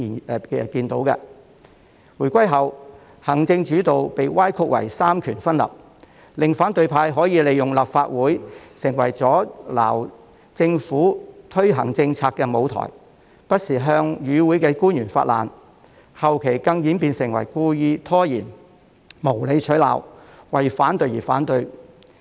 不過，在回歸後，行政主導被歪曲為三權分立，令反對派可以利用立法會成為阻撓政府推行政策的舞台，不時向與會的官員發難，後期更演變為故意拖延，無理取鬧，為反對而反對。